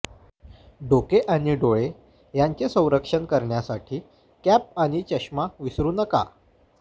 डोके आणि डोळे यांचे संरक्षण करण्यासाठी कॅप आणि चष्मा विसरू नका